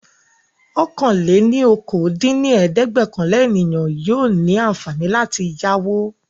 ọ̀kan-lé-ní-okòó dín ní ẹ̀ẹ́dẹ́gbẹ́ọ̀kànlá ènìyàn yóò ní àǹfààní láti yáwó.